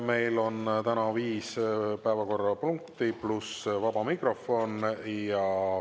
Meil on täna viis päevakorrapunkti, pluss vaba mikrofon.